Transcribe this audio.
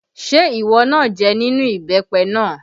Ṣé ìwọ náà jẹ nínú ìbẹ́pẹ náà?